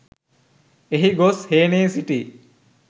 එහි ගොස් හේනේ සිටි